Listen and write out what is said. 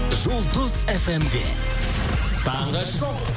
жұлдыз фм де таңғы шоу